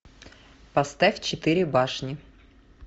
поставь четыре башни